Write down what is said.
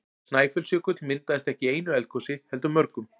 Snæfellsjökull myndaðist ekki í einu eldgosi heldur mörgum.